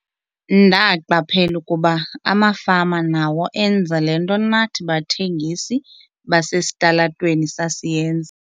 "Ndaqaphela ukuba amafama nawo enza le nto nathi bathengisi basesitalatweni sasiyenza."